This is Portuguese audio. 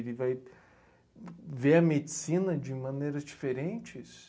Ele vai ver a medicina de maneiras diferentes?